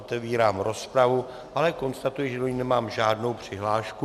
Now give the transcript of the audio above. Otevírám rozpravu, ale konstatuji, že do ní nemám žádnou přihlášku.